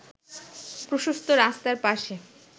প্রশস্ত রাস্তার পাশে